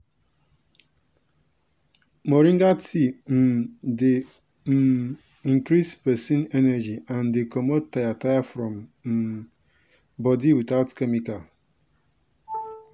moringa tea um dey um increase person energy and dey comot tire tire for um body without chemical.